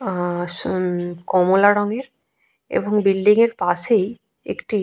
আ স উমম কমলা রঙের এবং বিল্ডিং এর পাশেই একটি --